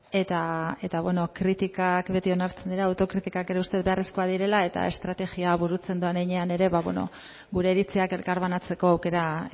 eta bueno kritikak beti onartzen dira autokritikak ere uste dut beharrezkoak direla eta estrategia burutzen doan heinean ere ba bueno gure iritziak elkarbanatzeko aukera